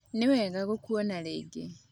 Nĩwega gũkuona rĩngĩ